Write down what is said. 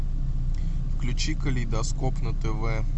включи калейдоскоп на тв